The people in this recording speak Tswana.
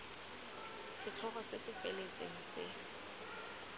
setlhogo se se feletseng se